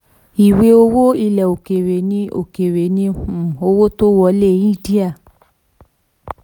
25. ìwé owó ilẹ̀ òkèèrè ni òkèèrè ni um owó tó wọlé india.